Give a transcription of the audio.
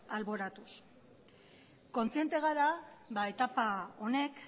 alboratuz kontziente gara etapa honek